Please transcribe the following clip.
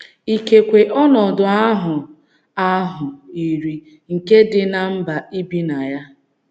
Ikekwe ,ọnọdụ ahụ ahụ yiri nke dị ná mba i bi na ya.